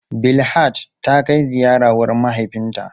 Bilhat ta kai ziyara wurin mahaifinta.